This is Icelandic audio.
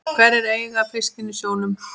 Hverjir eiga fiskinn í sjónum?